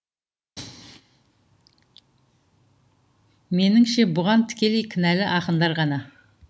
меніңше бұған тікелей кінәлі ақындар ғана